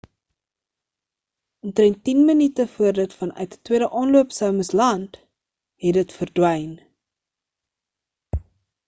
omtrend tien minute voor dit vanuit 'n tweede aanloop sou moes land het dit verdwyn